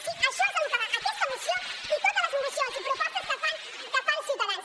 sí a això és al que va aquesta moció i totes les mocions i propostes que fan ciutadans